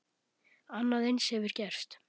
Annað eins hefur gerst.